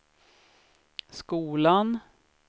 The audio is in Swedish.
skolan